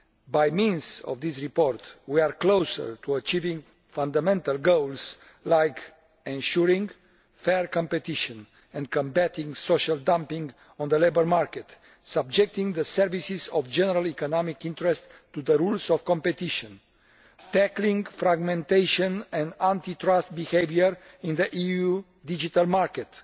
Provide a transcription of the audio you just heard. By means of this report we are closer to achieving fundamental goals like ensuring fair competition and combating social dumping on the labour market, subjecting services of general economic interest to the rules of competition, tackling fragmentation and anti trust behaviour in the EUʼs digital market,